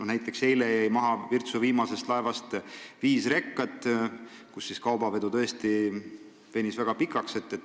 Näiteks eile jäi Virtsust tulevast viimasest laevast maha viis rekat, kaubavedu venis tõesti väga pikale.